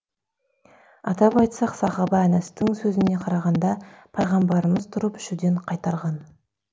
атап айтсақ сахаба әнәстың сөзіне қарағанда пайғамбарымыз тұрып ішуден қайтарған